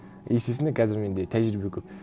естественно қазір менде тәжірибе көп